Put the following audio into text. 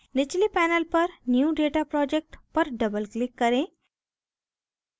निचले pane पर new data project पर doubleclick करें